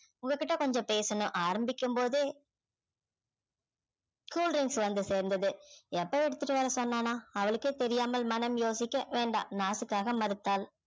உங்ககிட்ட கொஞ்சம் பேசணும் ஆரம்பிக்கும் போதே cool drinks வந்து சேர்ந்தது எப்ப எடுத்துட்டு வர அவளுக்கே தெரியாமல் மனம் யோசிக்க வேண்டாம் நாசுக்காக மறுத்தாள்